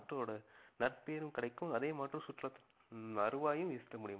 நாட்டோட நற்பெயரும் கிடைக்கும் அதே சுற்றுலா~ ஹம் வருவாயும் ஈட்ட முடியும்.